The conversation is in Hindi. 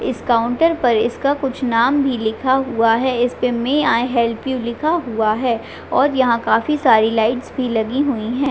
इस काउंटर पर इसका कुछ नाम भी लिखा हुआ है इसपे मे आई हैप्ल यू लिखा हुआ है और यहाँ काफी सारे लाइट्स भी लगी हुई है।